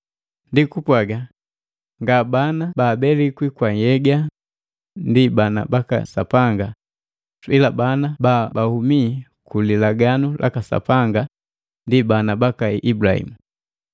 Ndi kupwaga, nga babana baabelikwi kwa nhyega ndi bana baka Sapanga ila bana bahumi ku lilaganu laka Sapanga ndi bana baka Ibulahimu.